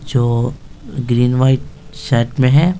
जो green white set में है।